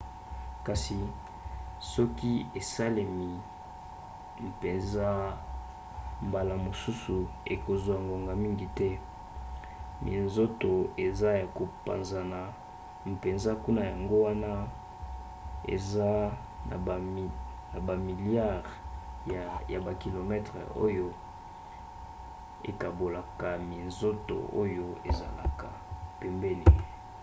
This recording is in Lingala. kasi soki esalemi mpenza mbala mosusu ekozwa ngonga mingi te. minzoto eza ya kopanzana mpenza kuna yango wana eza na bamiliare ya bakilometele oyo ekabolaka minzoto oyo ezalaka pembeni